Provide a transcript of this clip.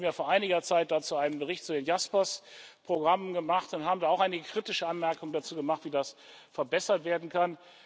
Wir haben ja vor einiger Zeit dazu einen Bericht zu den JASPERS Programmen gemacht und haben da auch einige kritische Anmerkungen dazu gemacht, wie das verbessert werden kann.